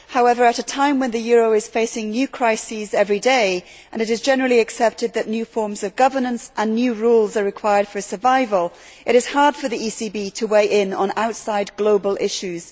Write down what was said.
However, at a time when the euro is facing new crises every day and it is generally accepted that new forms of governance and new rules are required for survival, it is hard for the ECB to weigh in on outside global issues.